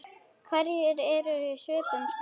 Hverjir eru í svipuðum stöðum?